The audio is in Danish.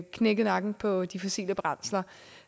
knækket nakken på de fossile brændsler